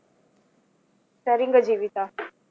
சரீங்க Jeevitha